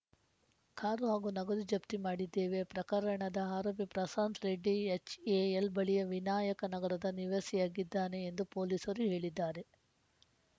car ಹಾಗೂ ನಗದು ಜಪ್ತಿ ಮಾಡಿದ್ದೇವೆ ಪ್ರಕರಣದ ಆರೋಪಿ ಪ್ರಶಾಂತ್‌ ರೆಡ್ಡಿ ಎಚ್‌ಎಎಲ್‌ ಬಳಿಯ ವಿನಾಯಕ ನಗರದ ನಿವಾಸಿಯಾಗಿದ್ದಾನೆ ಎಂದು ಪೊಲೀಸರು ಹೇಳಿದ್ದಾರೆ